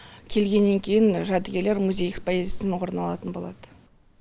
келгеннен кейін жәдігерлер музей экспозициясынан орын алатын болады